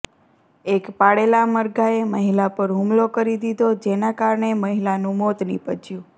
એક પાળેલા મરઘાએ મહિલા પર હુમલો કરી દીધો જેના કારણે મહિલાનું મોત નિપજ્યુ